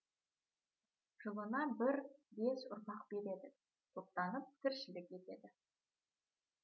жылына бір бес ұрпақ береді топтанып тіршілік етеді